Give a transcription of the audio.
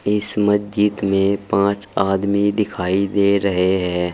इस मज्जिद में पांच आदमी दिखाई दे रहे है।